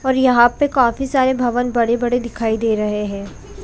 और यहाँ पे काफी सारे भवन बड़े-बड़े दिखाए दे रहे है।